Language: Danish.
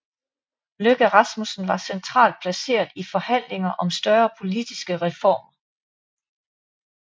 Løkke Rasmussen var centralt placeret i forhandlinger om større politiske reformer